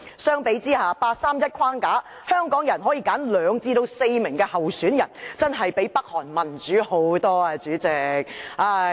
相比下，根據八三一框架，香港人可以有兩至四名候選人，真的較北韓民主甚多，主席。